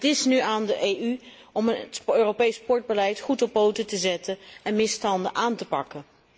Het is nu aan de EU om het Europees sportbeleid goed op poten te zetten en misstanden aan te pakken.